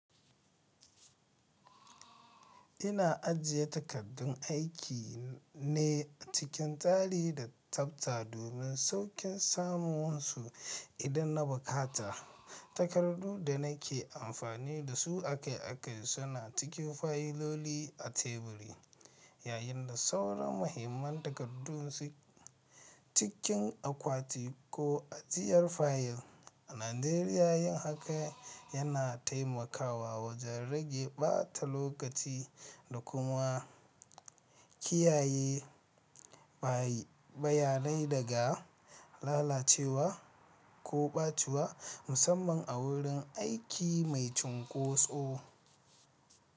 Ina ajiye takardun aiki ne acikin tsari da tsafta domin sauƙin samun su idan na buƙata. Takardu da nake amfani da su akai-akai suna cikin fayiloli a teburi, yayin da sauran muhimman takardu suke cikin akwati ko a ajiyar fayil. A Najeriya, yin haka yana taimakawa wajen rage ɓata lokaci da kuma kiyaye bayanai daga lalacewa ko ɓaciwa, musamman a wurin aiki mai cunkoso.